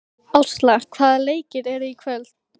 Ásla, hvaða leikir eru í kvöld?